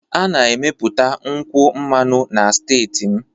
A na-emepụta nkwụ mmanụ na steeti m